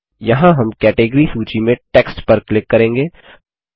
यहाँ हम कैटेगरी सूची में टेक्स्ट पर क्लिक करेंगे